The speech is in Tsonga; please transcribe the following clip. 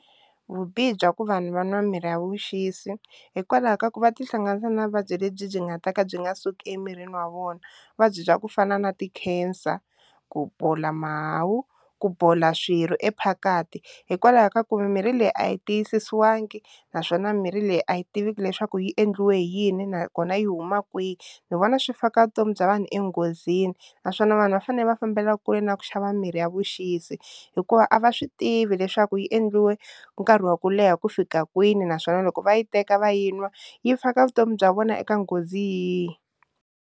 Vubihi bya ku vanhu va nwa mirhi ya vuxisi hikwalaho ka ku va tihlanganisa na vuvabyi lebyi byi nga ta ka byi nga suki emirini wa vona vuvabyi bya ku fana na ti-cancer, ku bola mahawu, ku bola swirho e phakathi hikwalaho ka ku mimirhi leyi a yi tiyisisiwangi naswona mirhi leyi a yi tiveki leswaku yi endliwe hi yini nakona yi huma kwihi, ni vona swi faka vutomi bya vanhu enghozini naswona vanhu va fanele va fambela kule na ku xava mirhi ya vuxisi hikuva a va swi tivi leswaku yi endliwe nkarhi wa ku leha ku fika kwini naswona loko va yi teka va yi nwa yi faka vutomi bya vona eka nghozi yihi.